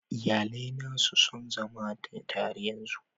Iyalai na su son zama tare yanzu